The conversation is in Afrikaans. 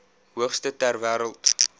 hoogste ter wêreld